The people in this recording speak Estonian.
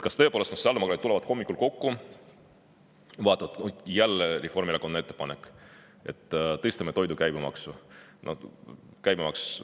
Kas tõepoolest nii, et kui sotsiaaldemokraadid tulevad hommikul kokku ja vaatavad, et jälle on Reformierakonnalt ettepanek, et tuleb tõsta toidu käibemaksu, [siis nad arutavad järgmiselt?